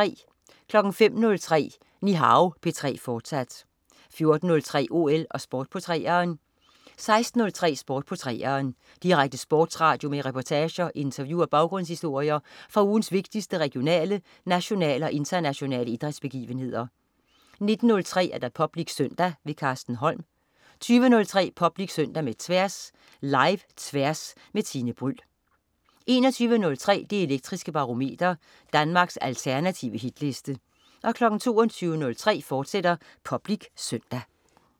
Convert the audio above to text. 05.03 Nihao P3, fortsat 14.03 OL og Sport på 3'eren 16.03 Sport på 3'eren. Direkte sportsradio med reportager, interview og baggrundshistorier fra ugens vigtigste regionale, nationale og internationale idrætsbegivenheder 19.30 Public Søndag. Carsten Holm 20.03 Public Søndag med Tværs. Live-Tværs med Tine Bryld 21.03 Det Elektriske Barometer. Danmarks alternative hitliste 22.03 Public Søndag, fortsat